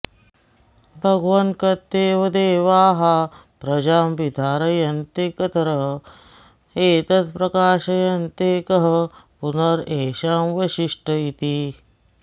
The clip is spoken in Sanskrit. भगवन् कत्येव देवाः प्रजां विधारयन्ते कतर एतत् प्रकाशयन्ते कः पुनरेषां वरिष्ठ इति